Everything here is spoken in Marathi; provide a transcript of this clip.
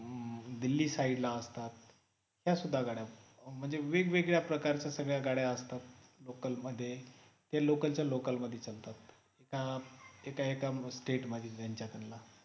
दिल्ली side ला असतात त्या सुद्धा गाड्या म्हणजे वेगवेगळ्या प्रकारच्या सगळ्या गाड्या असतात local मध्ये ते local च्या local मध्ये चालतात हे काम state मध्ये त्यांच्या समजा